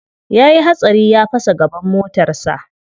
Ya yi hatsari ya fasa gaban motarsa.